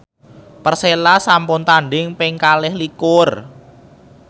Persela sampun tandhing ping kalih likur